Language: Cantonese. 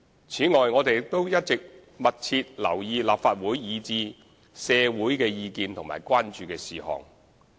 此外，我們亦一直密切留意立法會及社會的意見和關注事項。